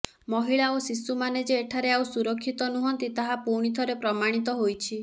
ମହିଳା ଓ ଶିଶୁମାନେ ଯେ ଏଠାରେ ଆଉ ସୁରକ୍ଷିତ ନୁହନ୍ତି ତାହା ପୁଣିଥରେ ପ୍ରମାଣିତ ହୋଇଛି